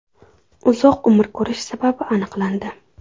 Uzoq umr ko‘rish sababi aniqlandi.